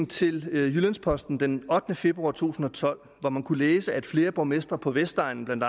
til jyllands posten den ottende februar to tusind og tolv hvor man kunne læse at flere borgmestre på vestegnen blandt